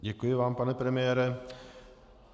Děkuji vám, pane premiére.